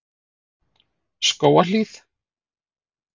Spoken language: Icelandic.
Skógahlíð